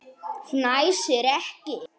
Fnæsir ekki.